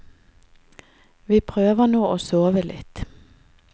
Vi prøver nå å sove litt.